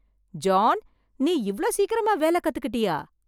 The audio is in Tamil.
ஜான், நீ இவ்ளோ சீக்கிரமா வேலை கத்துக்கிட்டியா!